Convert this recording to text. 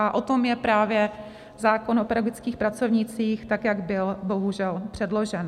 A o tom je právě zákon o pedagogických pracovnících, tak jak byl bohužel předložen.